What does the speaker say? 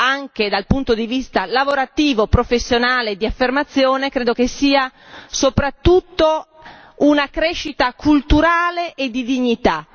anche dal punto di vista lavorativo, professionale e di affermazione, sia soprattutto una crescita culturale e di dignità.